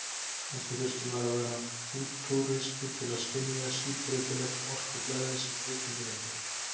Kannski þurfti maður að vera fútúristi til að skynja síbreytilegt orkuflæðið sem auðkenndi Reykjavík.